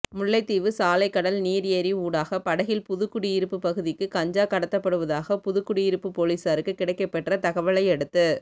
முல்லைத்தீவு சாலைகடல் நீர் ஏரி ஊடாக படகில் புதுக்குடியிருப்பு பகுதிக்கு கஞ்சா கடத்தப்டுவதாக புதுக்குடியிருப்பு பொலிசாருக்கு கிடைக்கப்பெற்ற தகவலையடுத்து